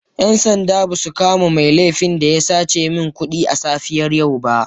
‘Yan sanda ba su kama mai laifin da ya sace min kudi a safiyar yau ba.